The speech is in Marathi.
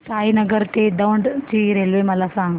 साईनगर ते दौंड ची रेल्वे मला सांग